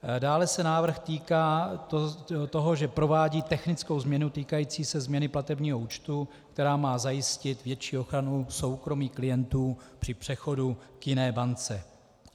Dále se návrh týká toho, že provádí technickou změnu týkající se změny platebního účtu, která má zajistit větší ochranu soukromí klientů při přechodu k jiné bance.